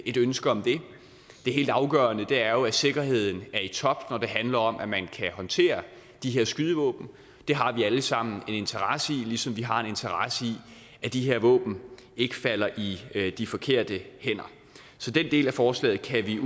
et ønske om det det helt afgørende er jo at sikkerheden er i top når det handler om at man kan håndtere de her skydevåben det har vi alle sammen en interesse i ligesom vi har en interesse i at de her våben ikke falder i de forkerte hænder så den del af forslaget kan vi